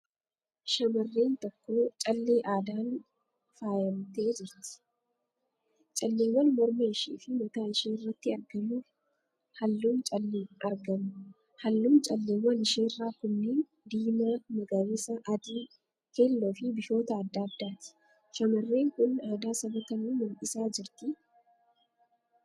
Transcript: Shamarreen tokko callee aadaan faayyamtee jirti. Calleewwan morma ishee fi mataa isheerratti argamu. Halluun calleewwan isheerraa kunniin: diimaa, magariisa, adii, keelloo, fi bifoota adda addaati. Shamarreen kun aadaa saba kamii mul'isaa jirtii?